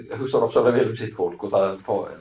hugsar ofsalega vel um sitt fólk og það